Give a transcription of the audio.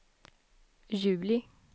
juli